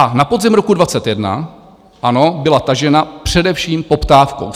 A na podzim roku 2021, ano, byla tažena především poptávkou.